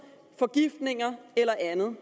forgiftninger eller andet